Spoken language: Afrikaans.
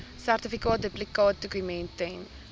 sertifikaat duplikaatdokument ten